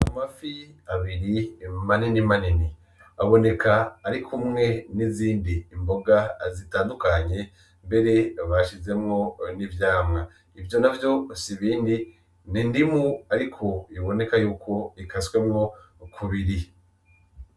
Amafi abiri maninimanini aboneka ari kumwe n'izindi mboga zitandukanye mbere bashizemwo n'ivyamwa ivyo navyo si ibindi n'indimu ariko biboneka yuko ikaswemwo kubiri.